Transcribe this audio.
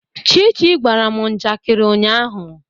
Chichi gwara m njakịrị ụnyaahụ.